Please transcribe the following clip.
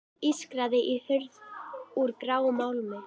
Það ískraði í hurð úr gráum málmi.